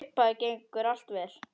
Í upphafi gengur allt vel.